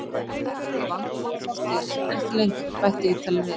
Þetta var vandamál í fortíðinni en ekki lengur, bætti Ítalinn við.